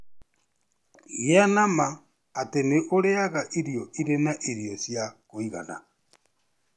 Gĩa na ma atĩ nĩ ũrĩĩaga irio irĩ na irio cia kũigana.